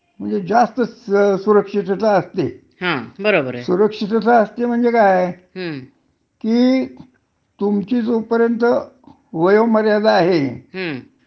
तोपर्यंत तुम्हाला नोकरी करता येते. हं. आणि जोपर्यंत तुमच्या वर्तुनिकीत काही तरी आक्षेपार्ह अस काही आढळत नाही, हं.